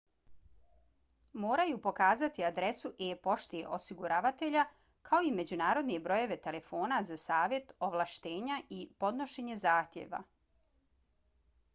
moraju pokazati adresu e-pošte osiguravatelja kao i međunarodne brojeve telefona za savjet/ovlaštenja i podnošenje zahtjeva